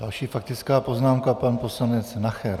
Další faktická poznámka pan poslanec Nacher.